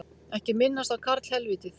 Ekki minnast á karlhelvítið